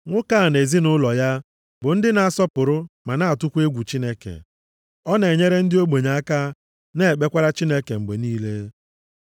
Nwoke a na ezinaụlọ ya bụ ndị na-asọpụrụ ma na-atụkwa egwu Chineke. Ọ na-enyere ndị ogbenye aka na-ekpekwara Chineke mgbe niile.